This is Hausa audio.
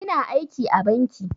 Ina aiki a banki